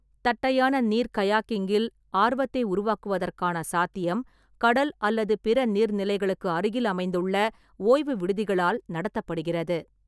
தட்டையான நீர் கயாக்கிங்கில் ஆர்வத்தை உருவாக்குவதற்கான சாத்தியம் கடல் அல்லது பிற நீர்நிலைகளுக்கு அருகில் அமைந்துள்ள ஓய்வு விடுதிகளால் நடத்தப்படுகிறது.